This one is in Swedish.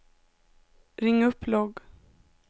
ring upp logg